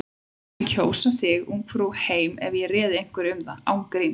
Ég mundi kjósa þig Ungfrú heim ef ég réði einhverju um það. án gríns.